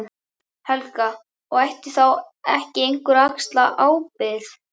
Helga: Og ætti þá ekki einhver að axla ábyrgð?